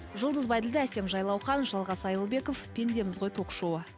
жұлдыз бәйділдә әсем жайлаухан жалғас айылбеков пендеміз ғой ток шоуы